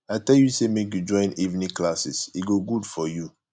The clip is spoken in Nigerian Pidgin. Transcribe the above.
i tell you say make you join evening classes e go good for you